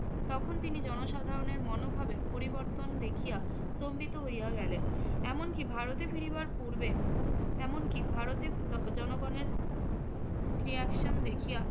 তখন তিনি জনসাধারণের মনোভাবের পরিবর্তন দেখিয়া স্তম্ভিত হইয়া গেলেন। এমনকি ভারতে ফিরবার পূর্বে~ এমন কী ভারতে জ~ জনগণের reaction দেখিয়া